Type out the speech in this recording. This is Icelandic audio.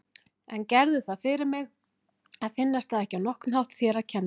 En gerðu það fyrir mig að finnast það ekki á nokkurn hátt þér að kenna.